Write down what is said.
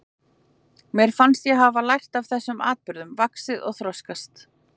Mér fannst ég hafa lært af þessum atburðum, vaxið og þroskast.